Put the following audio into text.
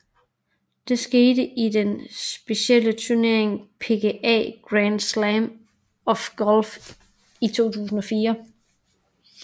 Det skete i den specielle turnering PGA Grand Slam of Golf i 2004